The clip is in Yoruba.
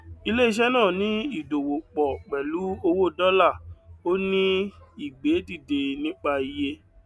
ilé iṣẹ náà ní ìdòwò pọ pẹlú owó dọlà ó ní ìgbé dìde nípa iye